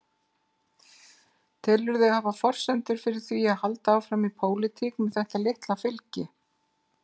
Telurðu þig hafa forsendur fyrir því að halda áfram í pólitík með þetta litla fylgi?